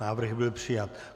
Návrh byl přijat.